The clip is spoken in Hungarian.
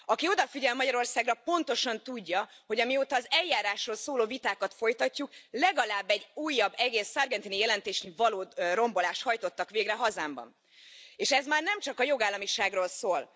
Aki odafigyel Magyarországra, pontosan tudja, hogy amióta az eljárásról szóló vitákat folytatjuk, legalább egy újabb egész Sargentini jelentésre való rombolást hajtottak végre hazámban, és ez már nem csak a jogállamiságról szól.